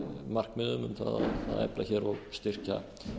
markmiðum um að efla og styrkja